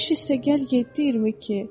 15 + 7 = 22.